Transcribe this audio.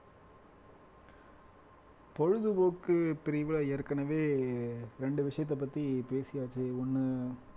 பொழுதுபோக்கு பிரிவுல ஏற்கனவே ரெண்டு விஷயத்த பத்தி பேசியாச்சு ஒண்ணு